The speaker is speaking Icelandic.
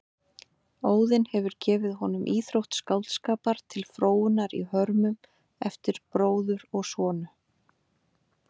Óðinn hefur gefið honum íþrótt skáldskapar til fróunar í hörmum eftir bróður og sonu.